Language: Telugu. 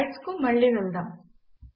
స్లైడ్స్ కు మళ్ళి వెళ్దాం